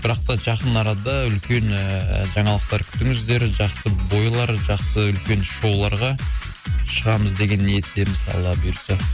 бірақ та жақын арада үлкен ыыы жаңалықтар күтіңіздер жақсы бойлар жақсы үлкен шоуларға шығамыз деген ниеттеміз алла бұйыртса